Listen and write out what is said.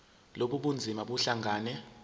lobu bunzima buhlangane